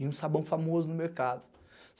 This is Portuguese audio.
e um sabão famoso no mercado.